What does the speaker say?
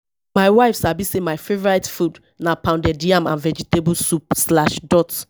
my wife sabi sey my favourite food na pounded yam and vegetable soup slash dot